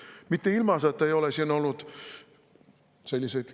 Mitte ilmaasjata ei ole siin olnud sellist kisa …